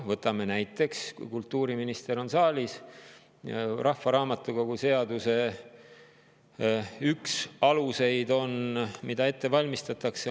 Võtame näiteks, kuna kultuuriminister on saalis, rahvaraamatukogu seaduse, mida ette valmistatakse.